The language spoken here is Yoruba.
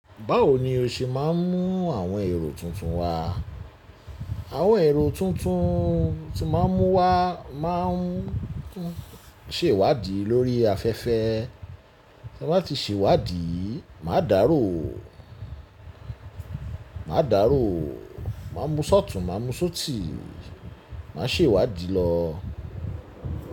Báwo ni o ṣe máa ń mú àwọn èrò tuntun wá? Àwọn èrò tuntun tí màá mú wá máa ń tún sèwádìí lórí afẹ́fẹ́. Ti n bá tí sèwádìí, màá dárò, màá dárò, màá mú ṣọtùn, màá mú ṣótì, màá sèwádìí lọ.